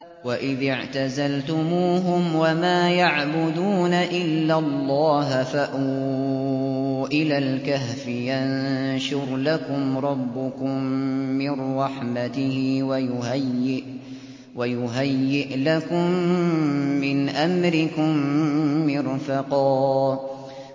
وَإِذِ اعْتَزَلْتُمُوهُمْ وَمَا يَعْبُدُونَ إِلَّا اللَّهَ فَأْوُوا إِلَى الْكَهْفِ يَنشُرْ لَكُمْ رَبُّكُم مِّن رَّحْمَتِهِ وَيُهَيِّئْ لَكُم مِّنْ أَمْرِكُم مِّرْفَقًا